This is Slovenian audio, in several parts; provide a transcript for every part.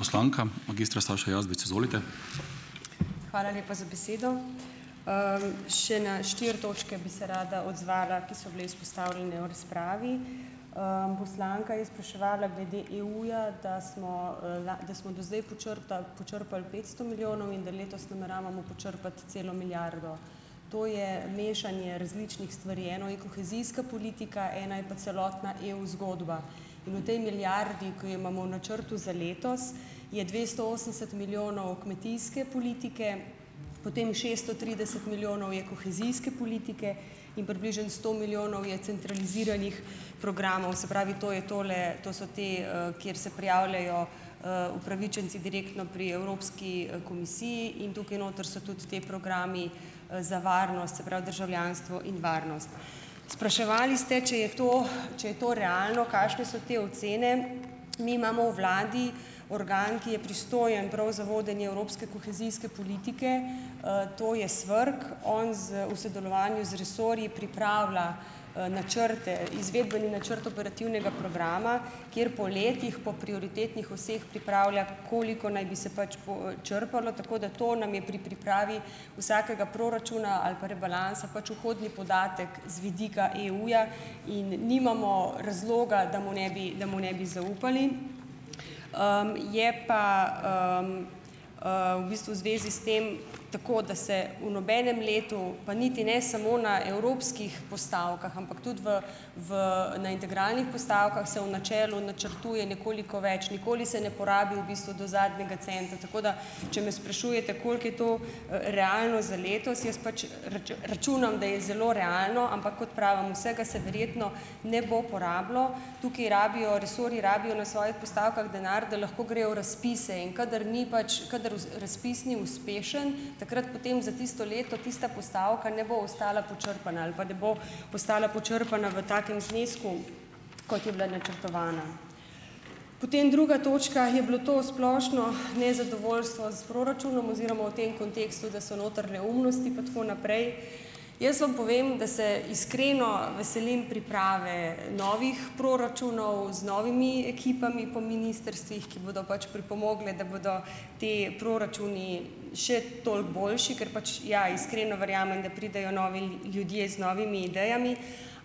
Hvala lepa za besedo. Še na štiri točke bi se rada odzvala, ki so bile izpostavljene v razpravi. Poslanka je spraševala glede EU-ja, da smo, da smo do zdaj počrtali počrpali petsto milijonov, in da letos nameravamo počrpati celo milijardo. To je mešanje različnih stvari. Eno je kohezijska politika, eno je pa celotna EU zgodba in v tej milijardi, ke jo imamo v načrtu za letos, je dvesto osemdeset milijonov kmetijske politike, potem šesto trideset milijonov je kohezijske politike in približno sto milijonov je centraliziranih programov, se pravi, to je tole, to so te, kjer se prijavljajo, upravičenci direktno pri evropski, komisiji in tukaj noter so tudi ti programi, za varnost, se pravi, državljanstvo in varnost. Spraševali ste, če je to, če je to realno, kakšne so te ocene. Mi imamo v vladi organ, ki je pristojen prav za vodenje evropske kohezijske politike. To je SVRK. On z v sodelovanju z resorji pripravlja, načrte, izvedbeni načrt operativnega programa kjer po letih, po prioritetnih oseh pripravlja, koliko naj bi se pač počrpalo, tako da to nam je pri pripravi vsakega proračuna ali pa rebalansa pač vhodni podatek z vidika EU-ja in nimamo razloga, da mu ne bi da mu ne bi zaupali. Je pa, v bistvu v zvezi s tem tako, da se v nobenem letu, pa niti ne samo na evropskih postavkah, ampak tudi v v na integralnih postavkah se v načelu načrtuje nekoliko več, nikoli se ne porabi v bistvu do zadnjega centa, tako da če me sprašujete, koliko je to, realno za letos, jaz pač računam, da je zelo realno, ampak kot pravim, vsega se verjetno ne bo porabilo. Tukaj rabijo resorji rabijo na svojih postavkah denar, da lahko grejo v razpise, in kadar ni pač kadar razpis ni uspešen, takrat potem za tisto leto tista postavka ne bo ostala počrpana ali pa ne bo postala počrpana v takem znesku, kot je bila načrtovana. Potem druga točka, je bilo to splošno nezadovoljstvo s proračunom oziroma o tem kontekstu, da so noter neumnosti pa tako naprej. Jaz vam povem, da se iskreno veselim priprave novih proračunov z novimi ekipami po ministrstvih, ki bodo pač pripomogle, da bodo ti proračuni še toliko boljši, ker pač, ja, iskreno verjamem, da pridejo novi ljudje z novimi idejami,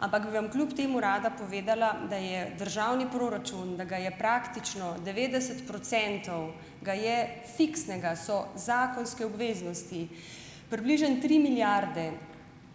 ampak bi vam kljub temu rada povedala, da je državni proračun, da ga je praktično devetdeset procentov ga je fiksnega, so zakonske obveznosti. Približno tri milijarde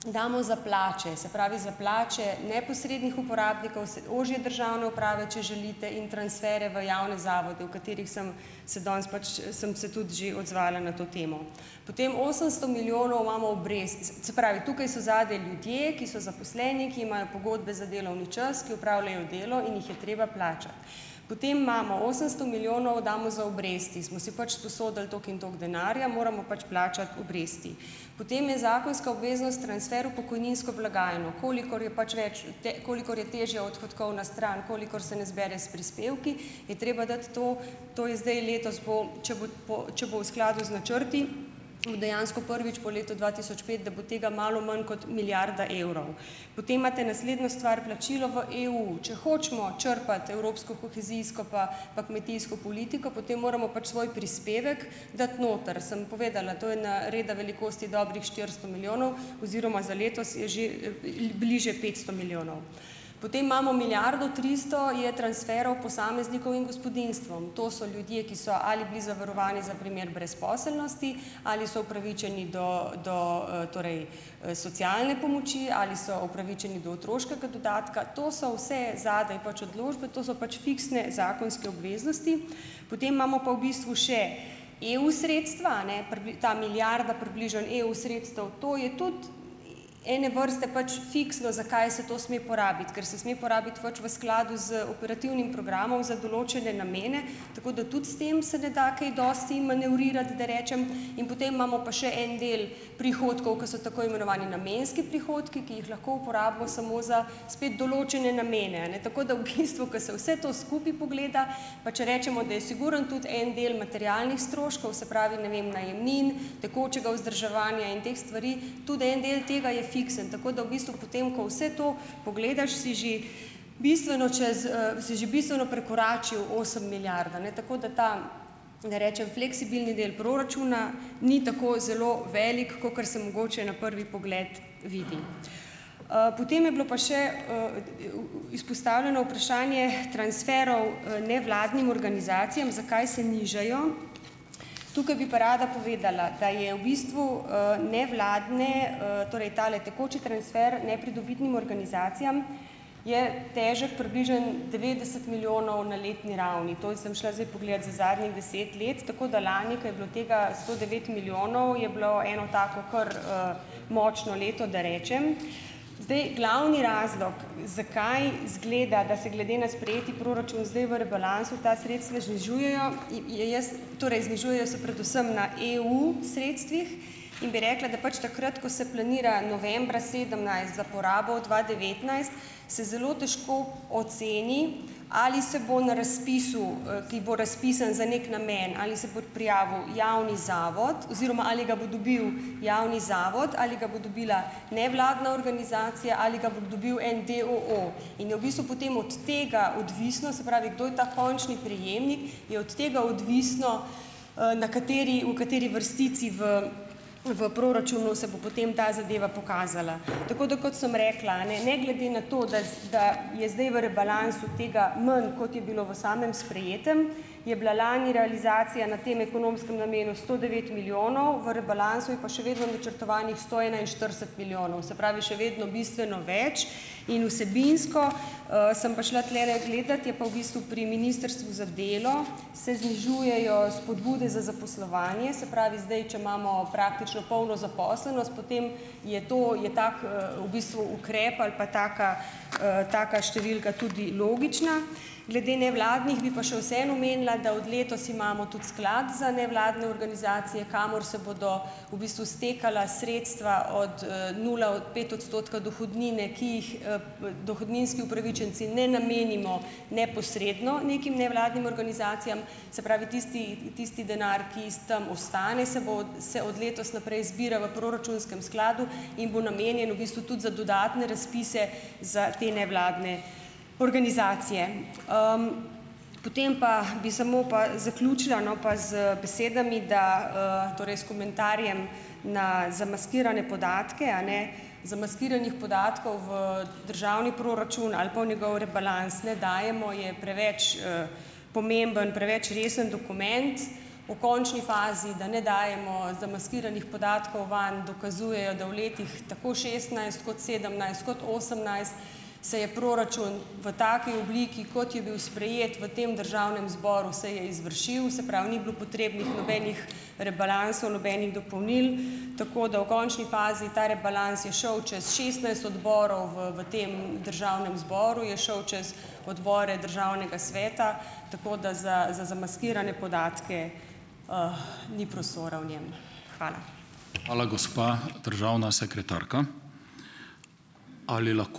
damo za plače, se pravi, za plače neposrednih uporabnikov se ožje državne uprave, če želite, in transfere v javne zavode, v katerih sem se danes pač, sem se tudi že odzvala na to temo. Potem osemsto milijonov imamo obrazec - se pravi tukaj so zadaj ljudje, ki so zaposleni, ki imajo pogodbe za delovni čas, ki opravljajo delo in jih je treba plačati. Potem imamo osemsto milijonov damo za obresti, smo si pač sposodili toliko in toliko denarja, moramo pač plačati obresti. Potem je zakonska obveznost transfer v pokojninsko blagajno. Kolikor je pač več v te, kolikor je težja odhodkovna stran, kolikor se ne zbere s prispevki, je treba dati to, to je zdaj letos, bo, če bo po če bo v skladu z načrti, v dejansko prvič po letu dva tisoč pet, da bo tega malo manj kot milijarda evrov. Potem imate naslednjo stvar plačilo v EU. Če hočemo črpati evropsko kohezijsko pa pa kmetijsko politiko, potem moramo pač svoj prispevek dati noter. Sem povedala, to je na reda velikosti dobrih štiristo milijonov oziroma za letos je že, bliže petsto milijonov. Potem imamo milijardo tristo je transferov posameznikov in gospodinjstvom. To so ljudje, ki so ali bili zavarovani za primer brezposelnosti ali so upravičeni do do, torej, socialne pomoči ali so upravičeni do otroškega dodatka. To so vse zadaj pač odločbe, to so pač fiksne zakonske obveznosti. Potem imamo pa v bistvu še EU sredstva, a ne, ta milijarda približno EU sredstev. To je tudi, ene vrste pač fiksno, za kaj se to sme porabiti. Kar se sme porabiti pač v skladu z operativnim programom za določene namene, tako da tudi s tem se ne da kaj dosti manevrirati, da rečem. In potem imamo pa še en del prihodkov, ki so tako imenovani namenski prihodki, ki jih lahko uporabimo samo za spet določene namene, a ne. Tako da v bistvu, ko se vse to skupaj pogleda, pa če rečemo, da je sigurno tudi en del materialnih stroškov, se pravi, ne vem, najemnin, tekočega vzdrževanja in teh stvari, tudi en del tega je fiksen. Tako da v bistvu, potem ko vse to pogledaš, si že bistveno čez, si že bistveno prekoračil osem milijard, a ne. Tako da ta ne rečem fleksibilni del proračuna ni tako zelo velik, kakor se mogoče na prvi pogled vidi. Potem je bilo pa še, izpostavljeno vprašanje transferov, nevladnim organizacijam - zakaj se nižajo. Tukaj bi pa rada povedala, da je v bistvu, nevladne, torej tale tekoči transfer nepridobitnim organizacijam, je težko približno devetdeset milijonov na letni ravni. To je sem šla zdaj pogledat za zadnjih deset let. Tako da lani, kaj bilo tega sto devet milijonov je bilo eno tako kar, močno leto, da rečem. Zdaj glavni razlog, zakaj izgleda, da se glede na sprejeti proračun zdaj v rebalansu ta sredstva znižujejo, je jaz, torej znižujejo se predvsem na EU sredstvih in bi rekla, da pač takrat, ko se planira novembra sedemnajst za porabo dva devetnajst, se zelo težko oceni, ali se bo na razpisu, ki bo razpisan za neki namen, ali se bo prijavil javni, zato oziroma ali ga bo dobil javni, zato ali ga bo dobila nevladna organizacija, ali ga bo dobil en d. o. o. In je v bistvu potem od tega odvisno, se pravi, kdo je ta končni prejemnik, je od tega odvisno, na kateri, v kateri vrstici v v proračunu se bo potem ta zadeva pokazala. Tako da, kot sem rekla, a ne. Ne glede na to, dc da je zdaj v rebalansu tega manj, kot je bilo v samem sprejetem, je bila lani realizacija na tem ekonomskem namenu sto devet milijonov, v rebalansu je pa še vedno načrtovanih sto enainštirideset milijonov. Se pravi, še vedno bistveno več. In vsebinsko, sem pa šla tulele gledat je pa v bistvu pri Ministrstvu za delo, se znižujejo spodbude za zaposlovanje. Se pravi, zdaj če imamo praktično polno zaposlenost, potem je to, je tako, v bistvu ukrep ali pa taka, taka številka tudi logična. Glede nevladnih bi pa še vseeno omenila, da od letos imamo tudi sklad za nevladne organizacije, kamor se bodo v bistvu stekala sredstva od, nula od pet odstotka dohodnine, ki jih, dohodninski upravičenci ne namenimo neposredno nekim nevladnim organizacijam. Se pravi, tisti, tisti denar, ki iz tam ostane, se bo se od letos naprej zbira v proračunskem skladu in bo namenjen v bistvu tudi za dodatne razpise za te nevladne organizacije. Potem pa bi samo pa zaključila, no, pa z besedami da, torej s komentarjem na zamaskirane podatke, a ne. Zamaskiranih podatkov v državni proračun ali pa v njegov rebalans ne dajemo, je preveč, pomemben, preveč resen dokument, v končni fazi, da ne dajemo zamaskiranih podatkov vam dokazujejo, da v letih, tako šestnajst, kot sedemnajst, kot osemnajst, se je proračun v taki obliki, kot je bil sprejet v tem državnem zboru se je izvršil, se pravi, ni bilo potrebnih nobenih rebalansov, nobenih dopolnil, tako da v končni fazi ta rebalans je šel čas šestnajst odborov v v tem državnem zboru, je šel čez odbore državnega sveta, tako da za za zamaskirane podatke, ni prostora v njem. Hvala.